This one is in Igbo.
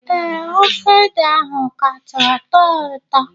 Ee, ofe ede ahụ kacha tọọ ụtọ